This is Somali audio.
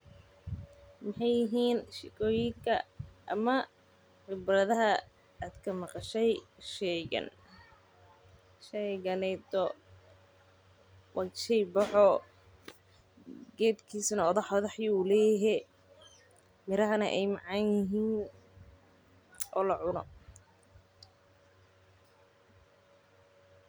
Maxay yihiin sheekooyinka ama khibradaha aad kamaqashay shaygan, sheyganeyto wa sheey boho, qefkisana odah odah ayu leyehe, miraha ay macanyixiin o lacuno.